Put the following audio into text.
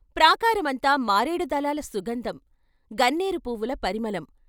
ప్రాకారనుంతా మారేడు దళాల సుగంధం, గన్నేరు పువ్వుల పరిమళం.